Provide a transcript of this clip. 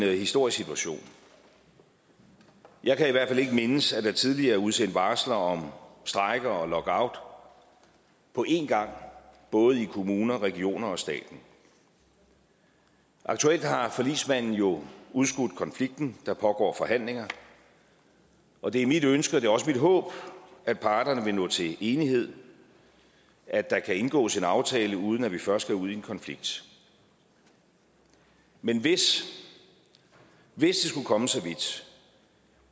en historisk situation jeg kan i hvert fald ikke mindes at der tidligere er udsendt varsler om strejke og lockout på en gang både i kommuner regioner og stat aktuelt har forligsmanden jo udskudt konflikten der pågår forhandlinger og det er mit ønske og det er også mit håb at parterne vil nå til enighed at der kan indgås en aftale uden at vi først skal ud i en konflikt men hvis det skulle komme så vidt